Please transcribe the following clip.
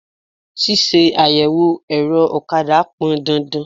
Ṣíṣe àyẹ̀wò ẹ̀rọ ọ̀kadà pọn dandan.